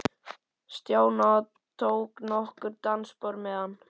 Stjána og tók nokkur dansspor með hann.